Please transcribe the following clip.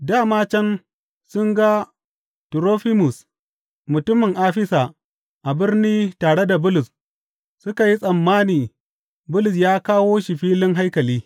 Dā ma can sun ga Turofimus mutumin Afisa a birni tare da Bulus suka yi tsammani Bulus ya kawo shi filin haikali.